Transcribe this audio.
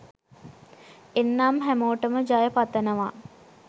එන්නම් හැමෝටම ජය පතනවා